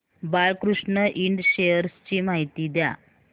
Balkrishna Ind shares ची माहिती द्या